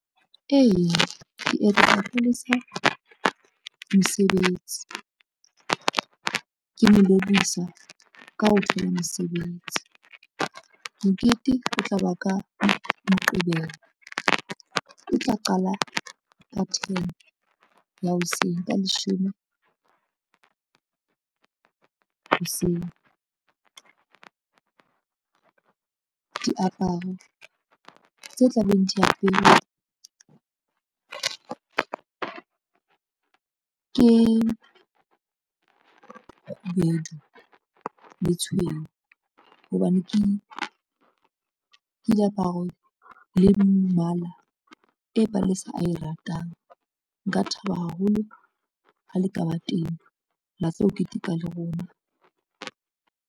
Eya, ke mosebetsi, ke mo lebohisa ka ho thola mosebetsi. Mokete o tla ba ka Moqebelo, o tla qala ka ten ya hoseng ka, leshome hoseng. Diaparo tse tla beng di aperwe ke kgubedu le tshweu hobane ke diaparo le mmala e Palesa ae ratang, nka thaba haholo ha le ka ba teng la tlo keteka le rona.